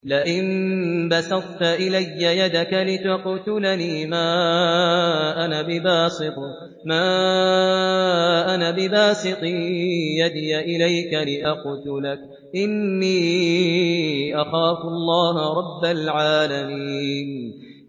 لَئِن بَسَطتَ إِلَيَّ يَدَكَ لِتَقْتُلَنِي مَا أَنَا بِبَاسِطٍ يَدِيَ إِلَيْكَ لِأَقْتُلَكَ ۖ إِنِّي أَخَافُ اللَّهَ رَبَّ الْعَالَمِينَ